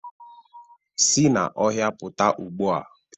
Si n'ọhịa pụta ugbu a